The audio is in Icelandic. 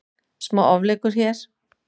Smá ofleikur hér.